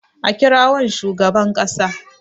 a kirawon shugaban kasa!